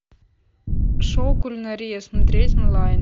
шоу кулинария смотреть онлайн